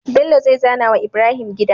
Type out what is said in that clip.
Bello zai zana wa Ibrahim gida